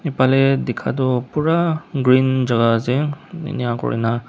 phalae dikha toh pura green jaka ase enakurna--